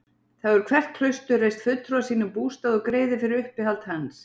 Þar hefur hvert klaustur reist fulltrúa sínum bústað og greiðir fyrir uppihald hans.